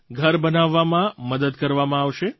ઘર બનાવવામાં મદદ કરવામાં આવશે